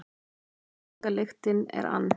Reykingalyktin er ann